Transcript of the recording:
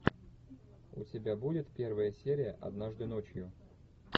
у тебя будет первая серия однажды ночью